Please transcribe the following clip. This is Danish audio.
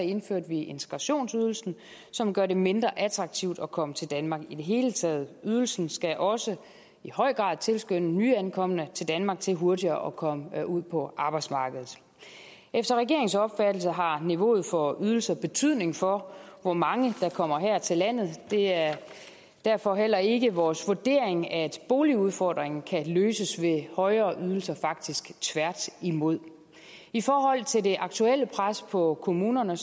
indførte vi integrationsydelsen som gør det mindre attraktivt at komme til danmark i det hele taget ydelsen skal også i høj grad tilskynde nyankomne til danmark til hurtigere at komme ud på arbejdsmarkedet efter regeringens opfattelse har niveauet for ydelser betydning for hvor mange der kommer her til landet det er derfor heller ikke vores vurdering at boligudfordringen kan løses ved højere ydelser faktisk tværtimod i forhold til det aktuelle pres på kommunerne